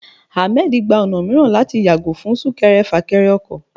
Ahmed gba ọna miiran latí yagò fún sunkẹrẹ-fakẹrẹ ọkọ.